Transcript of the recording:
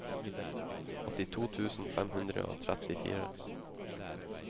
åttito tusen fem hundre og trettifire